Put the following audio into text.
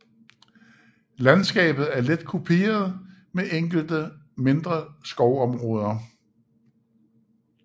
Landskabet er let kuperet med enkelte mindre skovområder